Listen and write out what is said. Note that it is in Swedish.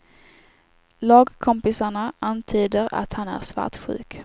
Lagkompisarna antyder att han är svartsjuk.